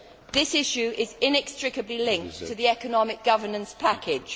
This issue is inextricably linked to the economic governance package.